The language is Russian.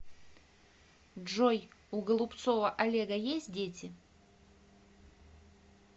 джой у голубцова олега есть дети